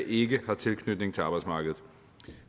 ikke har tilknytning til arbejdsmarkedet